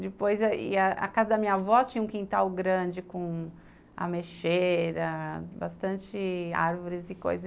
Depois, a casa da minha avó tinha um quintal grande com ameixeira, bastante árvores e coisas.